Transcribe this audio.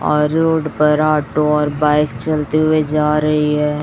और रोड पर ऑटो और बाईक चलते हुए जा रही हैं।